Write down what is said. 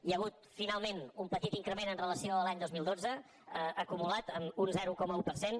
hi ha hagut finalment un petit increment en relació amb l’any dos mil dotze acumulat amb un zero coma un per cent